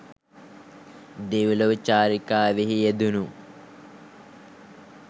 දෙව්ලොව චාරිකාවෙහි යෙදුණු